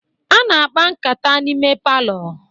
A na-akpa nkata n'ime palọ.